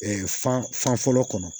fan fan fɔlɔ kɔnɔ